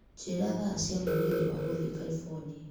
Njĩra thaa cia mũgithi wa gũthiĩ Calibonia.